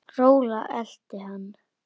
Rola elti hann.